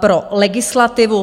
pro legislativu?